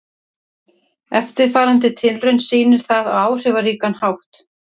Eftirfarandi tilraun sýnir það á áhrifaríkan hátt.